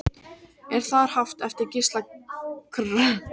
Er þar haft eftir Gísla Kr